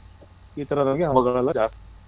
ಈತರದೆಲ್ಲ ಆವಗ ಆವಗ ಜಾಸ್ತಿ